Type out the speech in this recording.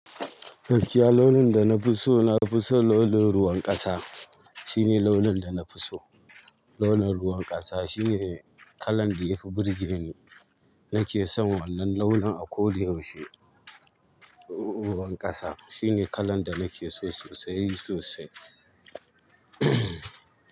Gaskiya launin da na fi so, na fi so launin ruwan ƙasa. Shine launin da na fi so. Launin ruwan ƙasa shine kalan da yafi burge ni. Na ke son wannan launin a ko dayaushe. Ruwan ƙasa shine kalan da na ke so sosai sosai.